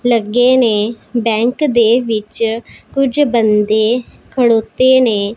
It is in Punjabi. ਲੱਗੇ ਨੇ ਬੈਂਕ ਦੇ ਵਿੱਚ ਕੁਝ ਬੰਦੇ ਖੜੋਤੇ ਨੇ--